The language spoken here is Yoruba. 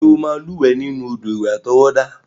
Ṣé o máa lúwẹ̀ẹ́ nínú odò ìwẹ̀ àtọwọ́dá?